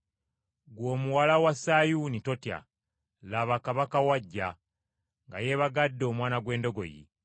“Ggwe muwala wa Sayuuni totya; laba Kabaka wo ajja, nga yeebagadde omwana gw’endogoyi.”